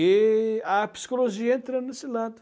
E a psicologia entra nesse lado.